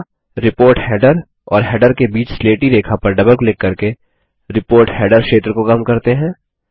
अगला report header और header के बीच स्लेटी रेखा पर डबल क्लिक करके रिपोर्ट हेडर क्षेत्र को कम करते हैं